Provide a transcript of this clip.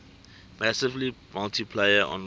massively multiplayer online